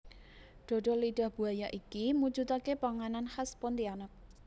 Dodol lidah buaya iki mujudake panganan khas Pontianak